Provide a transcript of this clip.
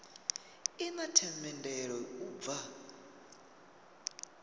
i na themendelo u bva